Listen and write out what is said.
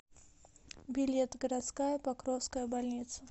билет городская покровская больница